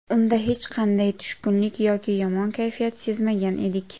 Unda hech qanday tushkunlik yoki yomon kayfiyat sezmagan edik”.